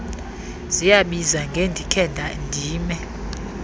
ziyabiza ngendikhe ndime